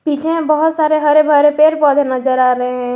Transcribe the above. पीछे मे बहोत सारे हरे भरे पेड़ पौधे नजर आ रहे हैं।